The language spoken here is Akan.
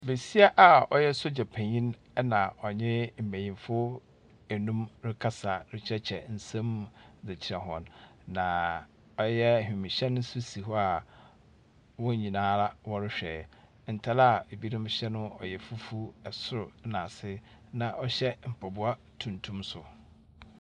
Besia a ɔyɛ sogya penyin ɛnna ɔnye mbenyimfo nnum rekasa rekyerɛkyerɛ nsɛm mu dze kyerɛ hɔn, na ɔyɛ wiemhyɛn nso si hɔ a wɔn nyinaa wɔrehwɛ. Ntar a ebinom hyɛ no ɔyɛ fufuw, sor na ase, na wɔhyɛ mpaboa tuntum nso.